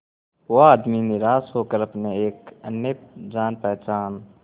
वो आदमी निराश होकर अपने एक अन्य जान पहचान